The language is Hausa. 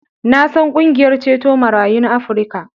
Na san ƙungiyar ceto marayun Afrika.